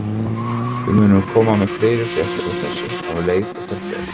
Við munum koma með fleiri fréttir af þessu um leið og þær berast.